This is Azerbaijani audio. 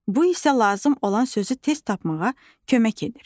Bu isə lazım olan sözü tez tapmağa kömək edir.